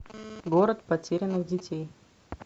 город потерянных детей